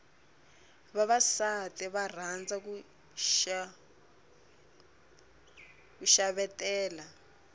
vavasati va rhandza ku xavetela